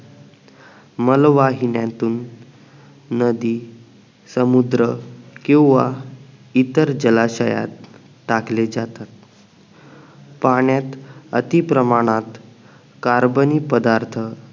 मलवाहिन्यातून नदी समुद्र किंवा इतर जलाशयात टाकले जातात पाण्यात अति प्रमाणात कार्बनी पदार्थ